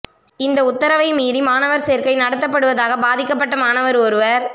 இந்த உத்தரவை மீறி மாணவர் சேர்க்கை நடத்தப்படுவதாக பாதிக்கப்பட்ட மாணவர் ஒருவர்